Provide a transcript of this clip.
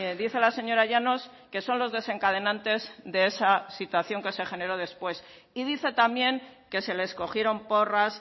dice la señora llanos que son los desencadenantes de esa situación que se generó después y dice también que se les cogieron porras